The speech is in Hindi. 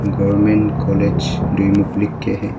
गवर्नमेंट कॉलेज ड्यूमुख लिख के है।